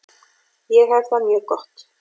Ég hef það mjög gott.